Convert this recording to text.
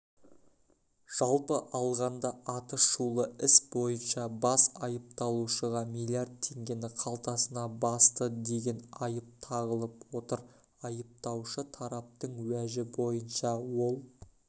жалпы алғанда аты шулы іс бойынша бас айыпталушыға миллиард теңгені қалтасына басты деген айып тағылып отыр айыптаушы тараптың уәжі бойынша ол